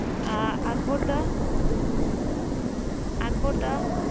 আহ আকবর দা আকবর দা?